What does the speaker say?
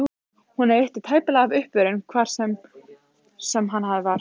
Honum veitti tæplega af uppörvun, hvar svo sem hann var.